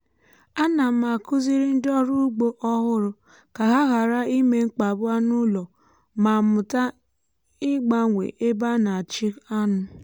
ana m akuziri ndị ọrụ ugbo ọhụrụ ka ha ghara ime mkpagbu anụ ụlọ ma mụta ịgbanwe ebe a na-achị anụ.